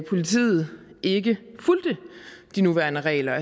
politiet ikke fulgte de nuværende regler